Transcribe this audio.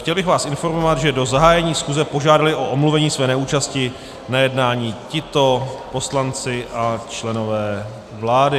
Chtěl bych vás informovat, že do zahájení schůze požádali o omluvení své neúčasti na jednání tito poslanci a členové vlády: